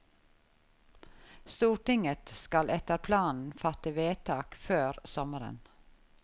Stortinget skal etter planen fatte vedtak før sommeren.